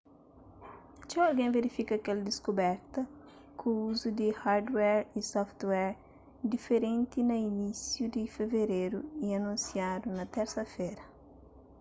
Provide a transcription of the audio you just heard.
txeu algen verifika kel diskuberta ku uzu di hardware y software diferenti na inisiu di fevereru y anunsiadu na térsa-fera